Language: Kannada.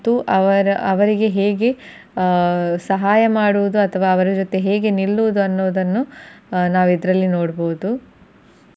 ಅವರ ಅವರಿಗೆ ಆ ಹೇಗೆ ಸಹಾಯ ಮಾಡುವುದು ಅಥವಾ ಅವರ ಜೊತೆ ಹೇಗೆ ನಿಲ್ಲುವುದನ್ನು ನಾವು ಇದರಲ್ಲೇ ನೋಡಬಹುದು.